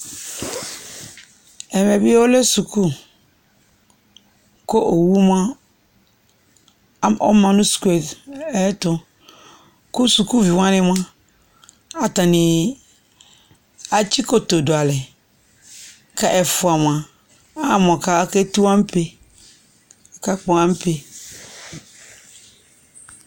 ɛmɛ bi ɔlɛ suku kò owu moa ɔma no sukue ayɛto kò sukuvi wani moa atani atsikoto do alɛ kò ɛfua moa ama mo ake tu ampe aka kpɔ ampe